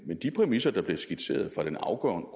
de præmisser der blev skitseret af den afgående